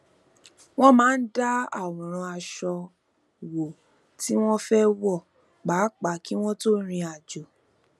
wón máa ń dá àwòrán aṣọ wo tí wọn fẹ wọ pàápàá kí wọn tó rìn àjò